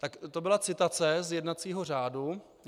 Tak to byla citace z jednacího řádu.